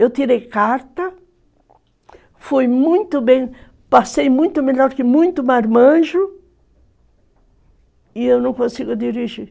Eu tirei carta, fui muito bem, passei muito melhor que muito marmanjo, e eu não consigo dirigir.